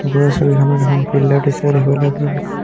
ওপৰৰ ছবিখনত এখন ফিল্ড ৰ দৃশ্য দেখিবলৈ পোৱা গৈছে।